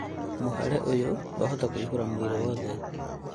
Mwĩhare ũyũ wahota kũihũra mwili wothe